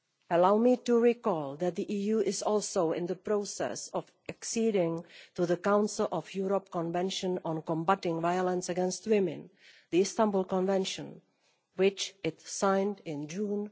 Allow me to recall that the EU is also in the process of acceding to the Council of Europe Convention on combating violence against women the Istanbul Convention which it signed in June